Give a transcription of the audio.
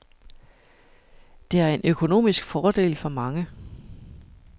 Det er en økonomisk fordel for mange.